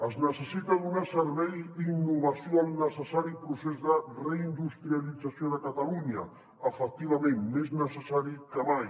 es necessita donar servei i innovació al necessari procés de reindustrialització de catalunya efectivament més necessari que mai